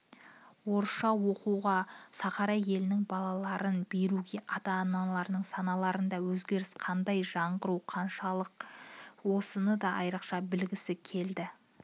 орысша оқуға сахара елінің балаларын беруге ата-аналардың санасында өзгеріс қандай жаңғыру қаншалық осыны да айрықша білгісі келеді